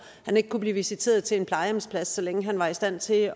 ikke kunne blive visiteret til en plejehjemsplads så længe han var i stand til